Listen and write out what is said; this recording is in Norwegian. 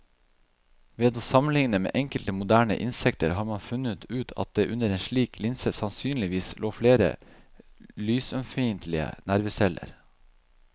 Ved å sammenligne med enkelte moderne insekter har man funnet ut at det under en slik linse sannsynligvis lå flere lysømfintlige nerveceller.